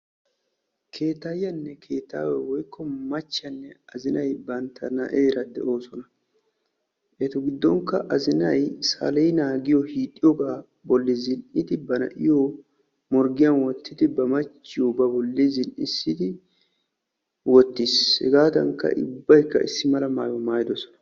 Keettaayyiyanne keettaaway woyikko machchiyanne azinay na'eera doosona. Etu giddonkka azinay saleenaa giyo hiixxoogaa bolli zin'idi bari na'iyo morggiyan wottidi bari machchiyo ba bolli zin'issidi wottiis. Hegaadankka ubbayikka issi mala mayuwa maayidosona.